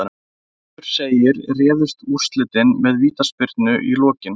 Eins og áður segir réðust úrslitin með vítaspyrnu í lokin.